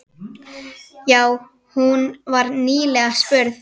Jú, hún var nýlega spurð.